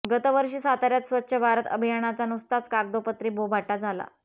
गतवर्षी साताऱ्यात स्वच्छ भारत अभियानाचा नुसताच कागदोपत्री बोभाटा झाला